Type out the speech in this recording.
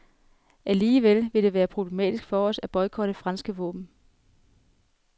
Alligevel vil det være problematisk for os at boykotte franske våben.